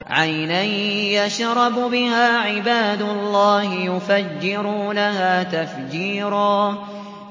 عَيْنًا يَشْرَبُ بِهَا عِبَادُ اللَّهِ يُفَجِّرُونَهَا تَفْجِيرًا